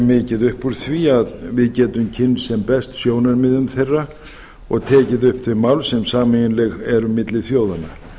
mikið upp úr því að við getum kynnst sem best sjónarmiðum þeirra og tekið upp þau mál sem sameiginleg eru milli þjóðanna